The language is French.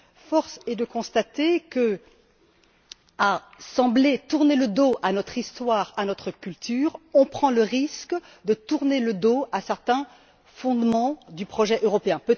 Force est de constater qu'à sembler tourner le dos à notre histoire et à notre culture, nous prenons le risque de tourner le dos à certains fondements du projet européen.